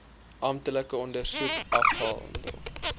amptelike ondersoek afgehandel